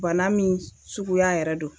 Bana min suguya yɛrɛ don